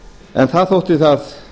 en þar þótti það